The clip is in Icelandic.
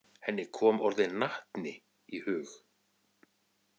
Henni kom orðið natni í hug.